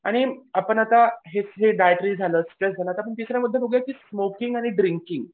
आणि आपण आता हे हे झालं आता आपण तिसरं बघूया की स्मोकिंग आणि ड्रिंकिंग